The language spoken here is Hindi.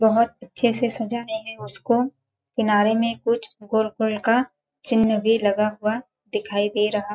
बहोत अच्छे से सज़ाए है उसको किनारे में कुछ गोल-गोल का चिन्ह भी लगा हुआ दिखाई दे रहा--